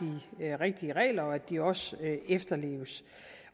rigtige regler og at de også efterleves